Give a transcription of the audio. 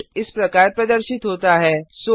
output इस तरह प्रदर्शित होता है